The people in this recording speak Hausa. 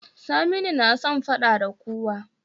Saminu na son faɗa da kowa